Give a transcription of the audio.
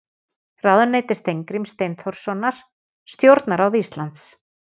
Ráðuneyti Steingríms Steinþórssonar Stjórnarráð Íslands.